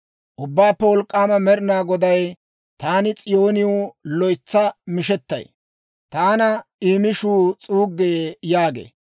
«Ubbaappe Wolk'k'aama Med'inaa Goday, ‹Taani S'iyooniw loytsa mishettay; taana I mishuu s'uuggee› yaagee.